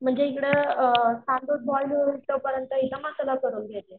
म्हणजे एकदा तांदूळ बॉईल होईस्तोपर्यंत एकदा मसाला करून घेते.